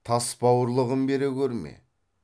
тас бауырлығын бере көрме